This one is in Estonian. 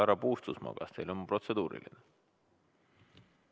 Härra Puustusmaa, kas teil on protseduuriline küsimus?